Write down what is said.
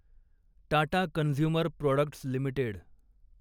Tata consumer products limited